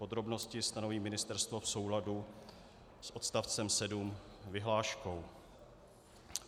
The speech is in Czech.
Podrobnosti stanoví Ministerstvo v souladu s odstavcem 7 vyhláškou.